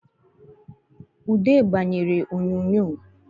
Ude gbanyere oyonyo